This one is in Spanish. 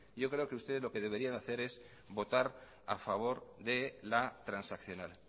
yo creo que ustedes lo que deberían hacer es votar a favor de la transaccional